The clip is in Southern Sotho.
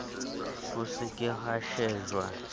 ho se ke ha shejwa